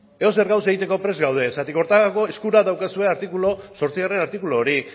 edozer gaur egiteko prest gaude zergatik horretarako eskura daukazue zortzigarrena artikulu hori